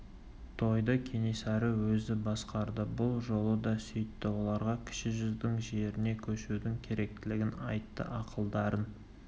тойды кенесары өзі басқарды бұл жолы да сөйтті оларға кіші жүздің жеріне көшудің керектілігін айтты ақылдарын